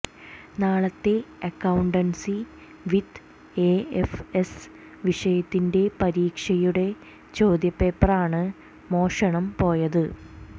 നാളത്തെ accountancy with AFS വിഷയത്തിന്റെ പരീക്ഷയുടെ ചോദ്യപേപ്പറാണ് മോഷണം പോയത്